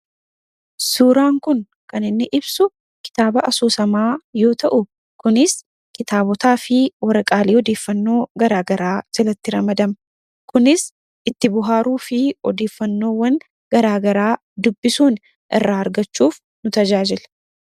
Suuraan kun kan inni ibsuu kitaaba Asoosamaa yoo ta'u, kunis kitaabotaafi waraqaalee odeeffannoo garaa garaa jalatti ramadamu. Kunis itti bohaaruufi odeeffannoo gara garaa dubbisuun irraa argachuuf nu tajaajila.